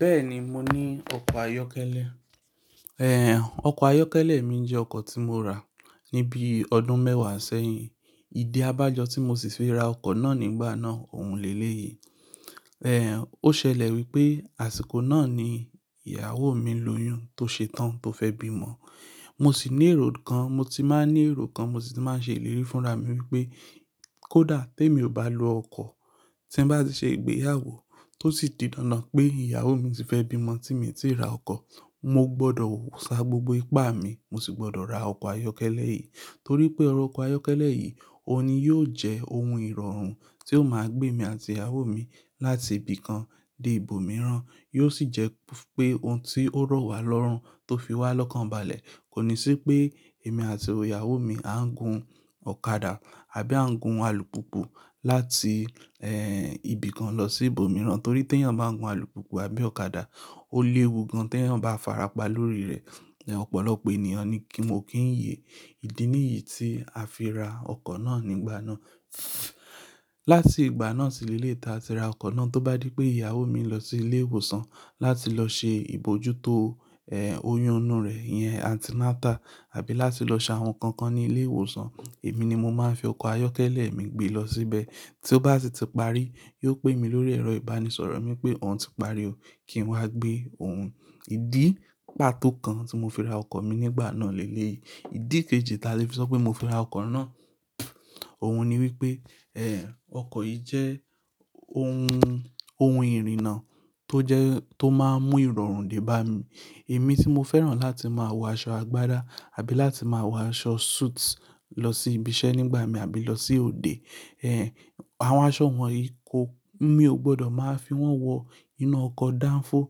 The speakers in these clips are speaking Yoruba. Bẹ́ẹ̀ni, mo ní ọkọ̀ ayọ́kẹ́lẹ́. Ẹ̀, ọkọ̀ ayọ́kẹ́lẹ́ mi jẹ́ ọkọ̀ tí mo rà ní bí ọdún mẹ́wàá sẹ́yìn. Ìdí abájọ tí mo sì fi ra ọkọ̀ náà nígbà náà òún le lé èyí. Ẹ̀, ó ṣẹlẹ̀ wípé àsìkò náà ni ìyàwó mi lóyún tó ṣe tán tó fẹ́ bí ọmọ. Mo sì ní èrò kan, mo ti máa ń ní èrò kan, mo sì ti máa ń ṣe ìlérí fúnra mi wípé kó dà tí èmi ò bá lo ọkọ̀ tí ń bá ti ṣe ìgbéyàwó tó sì di dandan pé ìyàwó mi ti fẹ́ bí ọmọ tí mi tì ra ọkọ̀. Mo gbọdọ̀ sá gbogbo ipá mi, mo sì gbọdọ̀ ra ọkọ̀ ayọ́kẹ́lẹ́ yìí. Torí pé ọrọ̀ ọkọ̀ ayọ́kẹ́lẹ́ yìí, òun ni yóò jẹ́ ohun ìrọ̀rùn tí yóò máa gbé mi àti ìyàwó mi láti ibì kan dé ibòmíràn. Yóò sì jẹ́ pé ohun tí ó rọ̀ wá lọ́rùn tó fi wá lọ́kàn balẹ̀. Kò ní sí pé èmi àti ìyàwó mi á ń gun ọ̀kadà àbí à ń gun alùpùpù láti, ẹ́, ibì kan lọ sí ibòmíràn. Torí tí ẹ̀yàn bá ń gun alùpùpù àbí ọ̀kadà, ó léwu gan tí ẹ̀yàn bá farapa lórí rẹ̀. Ẹ̀, ọ̀pọ̀lọpọ̀ ènìyàn ní kí mò kí ń yè. Ìdí nìyí tí a fi ra ọkọ̀ náà nígbà náà. Láti ìgbà náà sí lé leyìí taa ti ra ọkọ̀ náà tó bá dí pé ìyàwó mi lọ sí ilé ìwòsàn láti lọ ṣe ìbòjútó, ẹ́, oyún inú rẹ̀, ìyẹn antinatal àbí láti lọ ṣe àwọn nǹkan kan ní ilé ìwòsàn, èmi ni mo máa ń fi ọkọ̀ ayọ́kẹ́lẹ́ mi gbé lọ síbẹ̀. Tí ó bá sì ti parí, yóò pé mi lórí ẹ̀rọ ìbánisọ̀rọ̀ mi pé òun ti parí o, kí n wá gbé òun. Ìdí pàtó kan tí mo fi ra ọkọ̀ mi nígbà náà lè léyí. Ìdí kejì taa ti fi sọ pé mo fi ra ọkọ̀ náà, òun ni wípé, ẹ́, ọkọ̀ yìí jẹ́ ohun, ohun ìrìnnà tó jẹ́ tó máa ń mú ìrọ̀rùn dé bá mi. Èmi tí mo fẹ́ràn láti máa wọ aṣọ agbádá àbí láti máa wọ aṣọ suit lọ sí ibi iṣẹ́ nígbà mi àbí lọ sí òde. Ẹ̀, àwọn aṣọ wọ̀nyí kò, mi ò gbọdọ̀ máa fi wọ́n wọ inú ọkọ̀ danfo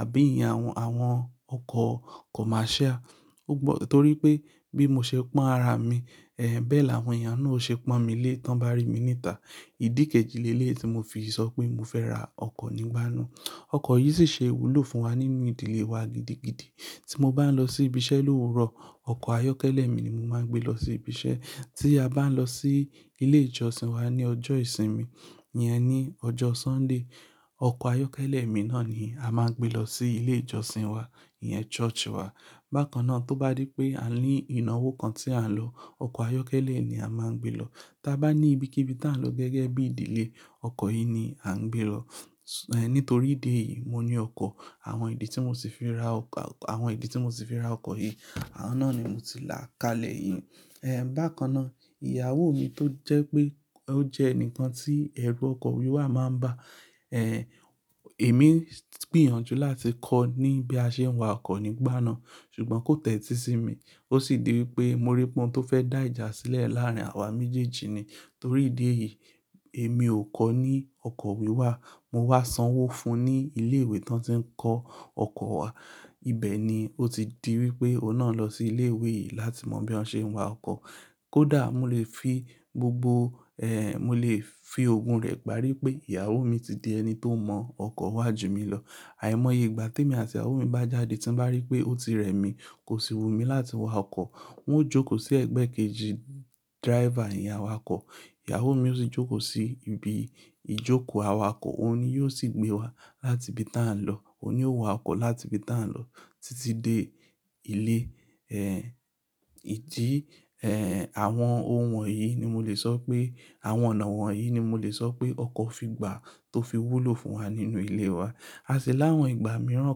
àbí ìyén àwọn, àwọn ọkọ̀ commercial. O gbọ-- torí pé bí mo ṣe pọ́n ara mi, ẹ́, bẹ́ẹ̀ làwọn èèyàn náà ó ṣe pọ́n mi lé tí wọ́n bá rí mi ní ìta. Ìdí kejì lé léyìí tí mo fi sọ pé mo fẹ́ ra ọkọ̀ nígbà náà. Ọkọ̀ yìí sì ṣe ìwúlò fún wa nínú ìdílé wa gidigidi. Tí mo bá ń lọ sí ibi iṣẹ́ lówuró ọkọ̀ ayọ́kẹ́lẹ́ mi ni mo máa ń gbé lọ sí ibi iṣẹ́. Tí a bá ń lọ sí ilé ìjọsìn wa ní ọjọ́ ìsinmi, ìyẹn ní ọjọ́ Sunday, ọkọ̀ ayọ́kẹ́lẹ́ mi náà ni a máa ń gbé lọ sí ilé ìjọsìn wa, ìyẹn church wá. Bákan náà tó bá dí pé a ní ìnáwó kan tí à ń lọ, ọkọ̀ ayọ́kẹ́lẹ́ ni a máa ń gbé lọ. Tí a bá ní ibikíbi tí à ń lọ gẹ́gẹ́ bí ìdílé, ọkọ̀ yìí ni à ń gbé lọ. Ẹ̀, nítorí ìdí èyí mo ní ọkọ̀. Àwọn ìdí tí mo sì fi ra ọkọ̀, àwọn ìdí tí mo sì fi ra ọkọ̀ yìí, àwọn náà ni mo ti là kalẹ̀ yìí. Ẹ̀, bákan náà ìyàwó mi tó jẹ́ pé ó jẹ́ ẹni kan tí ẹ̀rù ọkọ̀ wíwà máa ń bà, ẹ́, èmi gbìyànjú láti kọ́ ní bí a ṣe ń wa ọkọ̀ nígbà náà, ṣùgbọ́n kó tẹ́tí sí mi. Ó sì di wípé mo rí pọn tó fẹ́ dá ìjà sílẹ̀ láàárín àwa méjèèjì ni. Torí ìdí èyí, èmi ò kọ́ ní ọkọ̀ wíwà, mo wá sanwó fún un ní ilé ìwé tí wọ́n ti ń kọ́ ọkọ̀ wá. Ibẹ̀ ni ó ti di wípé ó náà lọ sí ilé ìwé yìí láti mọ bí wọ́n ṣe ń wa ọkọ̀. Kódà mò lè fi gbogbo, ẹ́, mò lè fi ogún rẹ̀ parí pé ìyàwó mi ti di ẹni tó mọ ọkọ̀ wá ju mi lọ. Àìmọye ìgbà tí èmi àti ìyàwó mi bá jáde tí mo bá rí pé ó ti rẹ̀ mí, kò sì wu mi láti wa ọkọ̀. N ó jókòó sí ẹgbẹ́ kejì driver ìyén awakọ̀. Ìyàwó mi ó sì jókòó sí ibi ìjókòó awakọ̀, òun ni yóò sì gbé wa láti ibi tí à ń lọ, òun ni ó wa ọkọ̀ láti ibi tí à ń lọ títí dé ilé. Ẹ̀, ìdí, ẹ́, àwọn ohun wọ̀nyí ni mo lè sọ pé àwọn ọ̀nà wọ̀nyí ni mo lè sọ pé ọkọ̀ fi gbà tó fi wúlò fún wa nínú ilé wa. A sì láwọn ìgbà mìíràn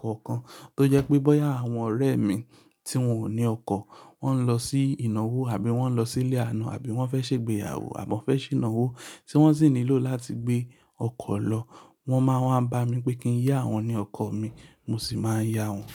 kọ̀ọ̀kan tó jẹ́ pé bóyá àwọn ọ̀rẹ́ mi tí wọ́n ò ní ọkọ̀, wọ́n ń lọ sí ìnáwó àbí wọ́n ń lọ sílé àna àbí wọ́n fẹ́ ṣe ìgbéyàwó àbí wọ́n fẹ́ ṣe ìnáwó tí wọ́n sì nílò láti gbé ọkọ̀ lọ, wọ́n máa ń bá mi pé kí n yá wọn ní ọkọ̀ mi, mo sì máa ń yá wọn.